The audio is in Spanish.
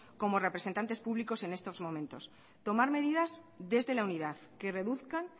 como representantes públicos en estos momentos tomar medidas desde la unidad que reduzcan